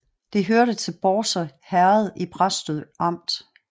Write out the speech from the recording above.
Det hørte til Bårse Herred i Præstø Amt